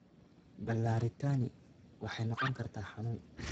Ballaarintani waxay noqon kartaa xanuun.